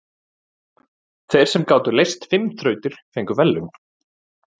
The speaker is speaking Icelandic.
Þeir sem gátu leyst fimm þrautir fengu verðlaun.